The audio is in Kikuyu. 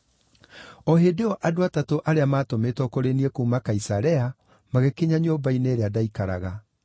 “O hĩndĩ ĩyo andũ atatũ arĩa maatũmĩtwo kũrĩ niĩ kuuma Kaisarea magĩkinya nyũmba-inĩ ĩrĩa ndaikaraga.